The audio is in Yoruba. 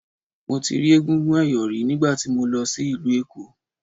Mo ti rí egúngún ẹ̀yọ̀ rí nígbà tí mo lọ sí ìlú Èkó.